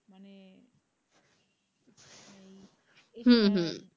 হম হম